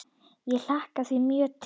Ég hlakka því mjög til.